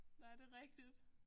Nej det rigtigt